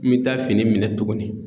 N mi taa fini minɛ tuguni